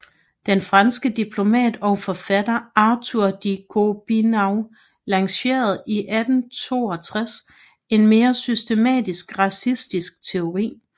Den franske diplomat og forfatter Arthur de Gobineau lancerede i 1862 en mere systematisk racistisk teori